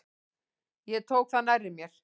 Ég tók það nærri mér.